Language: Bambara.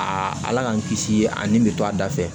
A ala k'an kisi a nin bɛ to a da fɛ